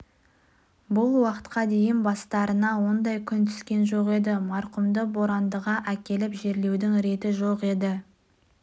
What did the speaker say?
бұдан біраз жыл бұрын құмбел станциясының ауруханасында қазанғаптың кемпірі бекей қайтыс болғанда ол сол құмбелдегі зиратқа қойылды